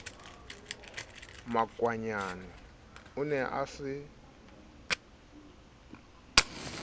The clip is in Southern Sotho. makwanyane o ne a se